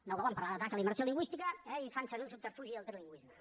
no volen parlar d’atac a la immersió lingüística i fan servir el subterfugi del trilingüisme